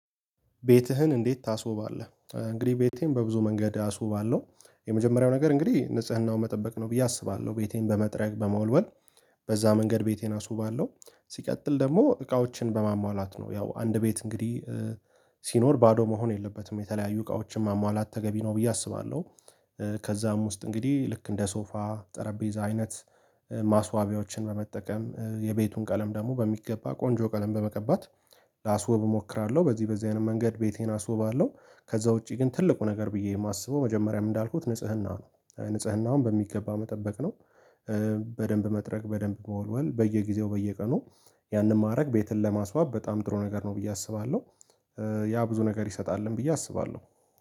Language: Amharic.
ቤትህን እንዴት ታስውባለህ? እንግዲህ ቤቴን በብዙ መንገድ አስውባለሁ። የመጀመሪያው ነገር እንግዲህ ንጽህናው መጠበቅ ነው ብዬ አስባለሁ ቤቴን በመጥረግ በመወልወል በዛ መንገድ ቤቴን አስውባለሁ። ሲቀጥል ደግሞ እቃዎችን በማሟላት ነው ያው አንድ ቤት እንግዲህ ሲኖር ባዶ መሆን የለበትም የተለያዩ እቃዎችን ማሟላት ተገቢ ነው ብዬ አስባለሁ። ከዛም ውስጥ እንግዲህ ልክ እንደ ሶፋ ጠረጴዛ አይነት ማስዋቢያዎችን በመጠቀም የቤቱን ቀለም ደግሞ በሚገባ ቆንጆ ቀለም በመቀባት ላስወብ እሞክራለሁ። በዚህ በዚህ አይነት መንገድ ቤቴን አስውባለሁ። ከዛ ውጪ ግን ትልቁ ነገር ብዬ የማስበው መጀመሪያም እንዳልኩት ንጽህና ነው ንጽህናውን በሚገባ መጠበቅ ነው። በደንብ መጥረግ በደንብ መወልወል በየጊዜው በየቀኑ ያንን ማድረግ ቤትን ለማስዋብ በጣም ጥሩ ነገር ነው ብዬ አስባለሁ። ያ ብዙ ነገር ይሰጣልም ብዬ አስባለሁ